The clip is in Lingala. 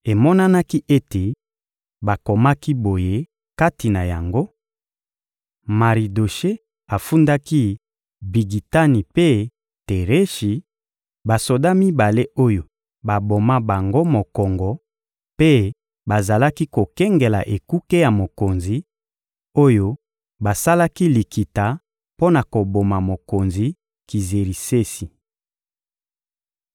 Emonanaki ete bakomaki boye kati na yango: Maridoshe afundaki Bigitani mpe Tereshi, basoda mibale oyo baboma bango mokongo mpe bazalaki kokengela ekuke ya mokonzi, oyo basalaki likita mpo na koboma mokonzi Kizerisesi.